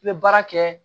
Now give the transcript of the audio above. I bɛ baara kɛ